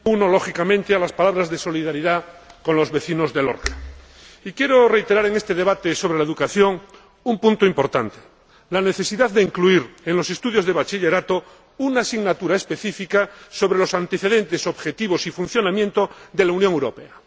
Señor Presidente, me uno, lógicamente, a las palabras de solidaridad con los vecinos de Lorca. Y quiero reiterar, en este debate sobre la educación, un punto importante la necesidad de incluir en los estudios de bachillerato una asignatura específica sobre los antecedentes, los objetivos y el funcionamiento de la Unión Europea.